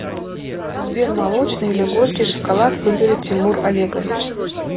сбер молочный или горький шоколад выберет тимур олегович